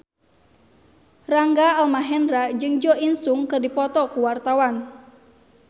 Rangga Almahendra jeung Jo In Sung keur dipoto ku wartawan